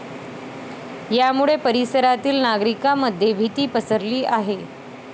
यामुळे परिसरातील नागरिकांमध्ये भीती पसरली आहे.